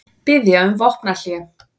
Biðja um vopnahlé